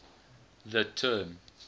the term